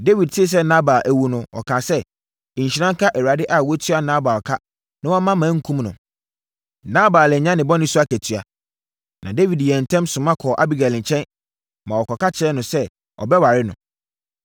Dawid tee sɛ Nabal awu no, ɔkaa sɛ, “Nhyira nka Awurade a watua Nabal ka na wamma mankum no. Nabal anya ne bɔne so akatua.” Na Dawid yɛɛ ntɛm soma kɔɔ Abigail nkyɛn, maa wɔkɔka kyerɛɛ no sɛ, ɔbɛware no.